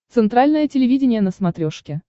центральное телевидение на смотрешке